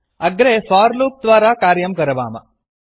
अग्रे for loop द्वारा कार्यं करवाम